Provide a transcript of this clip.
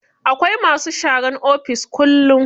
Akwai masu sharan ofis kullum.